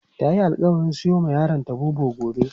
Tayi alƙawarin siyowa yaronta Bobo gobe.